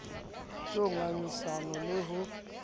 c ho ngangisana le ho